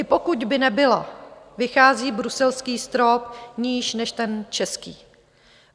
I pokud by nebyla, vychází bruselský strop níž než ten český.